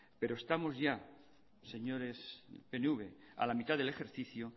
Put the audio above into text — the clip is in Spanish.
pero estamos ya señores pnv a la mitad del ejercicio